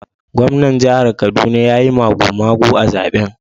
Gwamnan jihar Kaduna ya yi magumagu a zaben